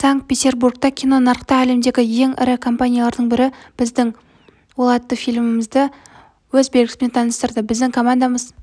санкт-петербургта кинонарықта әлемдегі ең ірі кинокомпаниялардың бірі біздің ол атты фильмімізді өз белгісімен таныстырды біздің командамыз